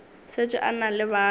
šetše a na le bana